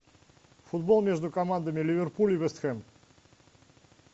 футбол между командами ливерпуль и вест хэм